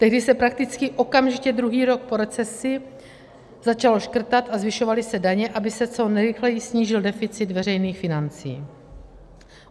Tehdy se prakticky okamžitě druhý rok po recesi začalo škrtat a zvyšovaly se daně, aby se co nejrychleji snížil deficit veřejných financí.